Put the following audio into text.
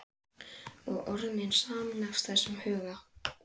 Ef þú gætir nú bara hreinsað minn auma æviveg.